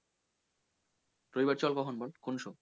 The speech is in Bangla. রবিবার চল কখন বল কোন সময়?